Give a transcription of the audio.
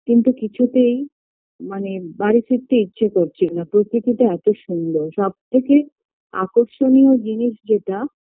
কিন্তু কিছুতেই মানে বাড়ি ফিরতে ইচ্ছে করছিলো না প্রকৃতিটা এত সুন্দর সবথেকে আকর্ষণীয় জিনিস যেটা